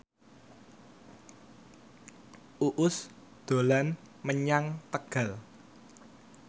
Uus dolan menyang Tegal